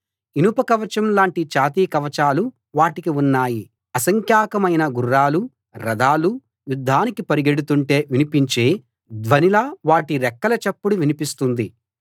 ఇనప కవచం లాంటి ఛాతీ కవచాలు వాటికి ఉన్నాయి అసంఖ్యాకమైన గుర్రాలూ రథాలూ యుద్ధానికి పరిగెడుతుంటే వినిపించే ధ్వనిలా వాటి రెక్కల చప్పుడు వినిపిస్తుంది